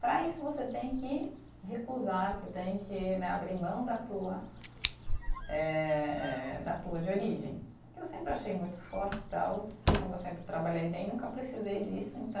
Para isso você tem que recusar, que tem que né abrir mão da tua eh, da tua de origem, que eu sempre achei muito forte e tal, e como eu sempre trabalhei bem, nunca precisei disso, então